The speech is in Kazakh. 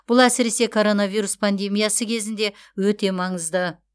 бұл әсіресе коронавирус пандемиясы кезінде өте маңызды